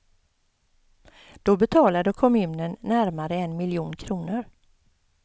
Då betalade kommunen närmare en miljon kronor.